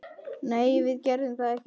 Nei, við gerðum það ekki.